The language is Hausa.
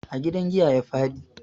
A gidan giya ya faɗi.